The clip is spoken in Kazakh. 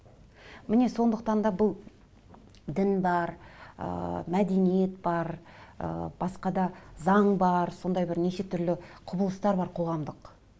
міне сондықтан да бұл дін бар ыыы мәдениет бар ыыы басқа да заң бар сондай бір неше түрлі құбылыстар бар қоғамдық